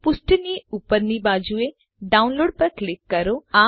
પુષ્ઠની ઉપરની બાજુએ ડાઉનલોડ પર ક્લિક કરો